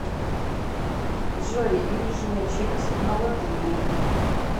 джой нижняя челюсть на латыни